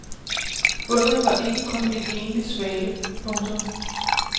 Fundet var ikke kun en enlig svale. punktum